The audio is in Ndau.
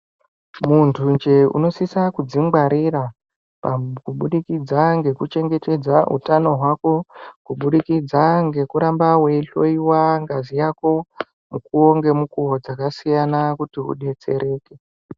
Muntu nje unosisa kuzvingwarira kubudikidza ngekuchengetedza utano hwako kubudikidza ngekuramba weihloiwa ngazi Yako mukuwo ngemukuwo dzakasiyana kuti udetsereke.